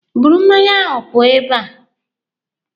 Buru mmanya ahụ pụọ ebe a!